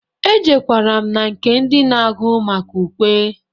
Ejewkara m na nke ndị na-agụ maka ukwe.